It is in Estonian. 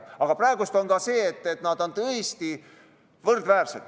Praegu on nii, et nad on oma jõult tõesti võrdväärsed.